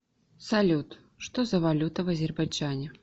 салют что за валюта в азербайджане